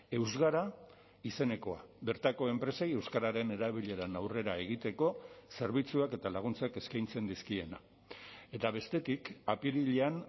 eusgara izenekoa bertako enpresei euskararen erabileran aurrera egiteko zerbitzuak eta laguntzak eskaintzen dizkiena eta bestetik apirilean